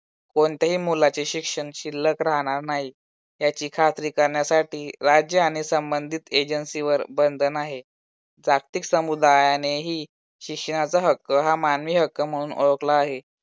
कोणत्याही मुलाचे शिक्षण शिल्लक राहणार नाही, याची खात्री करण्यासाठी राज्य आणि संबंधित agency वर बंधन आहे. जागतिक समुदायाने ही शिक्षणाचा हक्क हा मानवी हक्क म्हणून ओळखला आहे.